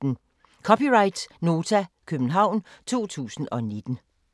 (c) Nota, København 2019